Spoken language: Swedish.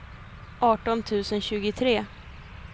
arton tusen tjugotre